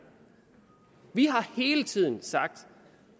vi har hele tiden sagt